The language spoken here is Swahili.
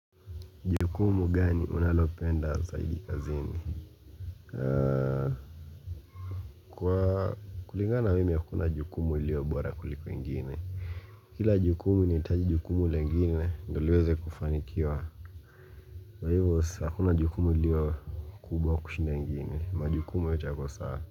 Jukumu gani unalopenda zaidi kazini Kwa kuligana na mimi hakuna jukumu ilio bora kuliko engine Kila jukumu inahitaji jukumu lengine ndio liweze kufanikiwa kwa hivyo hakuna jukumu ilio kubwa kushinda ingine majukumu yote yako sawa.